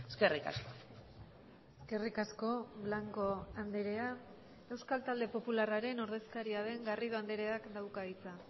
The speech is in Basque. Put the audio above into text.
eskerrik asko eskerrik asko blanco andrea euskal talde popularraren ordezkaria den garrido andreak dauka hitza